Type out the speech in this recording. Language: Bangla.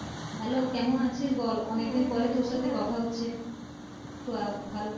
Hello কেমন আছিস বল। অনেক দিন পর তোর সাথে কথা হচ্ছে তো ভালো।